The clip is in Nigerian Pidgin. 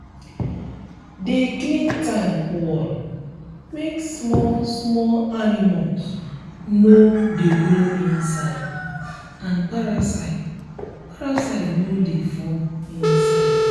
de clean tank wall make small small animals no de grow inside and parasite parasite no de form inside